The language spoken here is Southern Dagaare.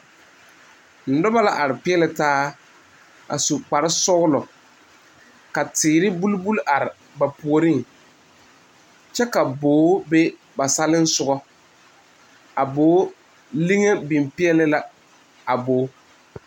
Noba la are peɛli taa a su kpare sɔglɔ ka teere buli buli are ba puori kyɛ ka boo be ba sali soga a boo liŋe biŋ peɛle la a boo.